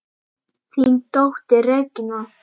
Þín dóttir, Regína.